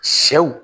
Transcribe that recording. Sɛw